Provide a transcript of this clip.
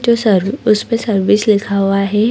जो सर्व उस पे सर्विस लिखा हुआ है।